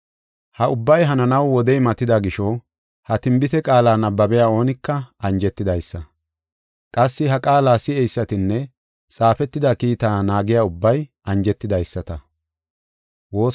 Ha ubbay hananaw wodey matida gisho, ha tinbite qaala nabbabiya oonika anjetidaysa; qassi ha qaala si7eysatinne xaafetida kiitaa naagiya ubbay anjetidaysata.